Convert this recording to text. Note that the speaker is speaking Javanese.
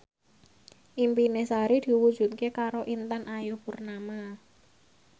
impine Sari diwujudke karo Intan Ayu Purnama